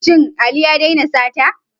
Shin Ali ya daina sata?